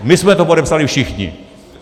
My jsme to podepsali všichni.